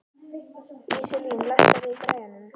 Íselín, lækkaðu í græjunum.